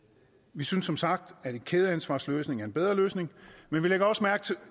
vi synes som sagt at en kædeansvarsløsning er en bedre løsning men vi lægger også mærke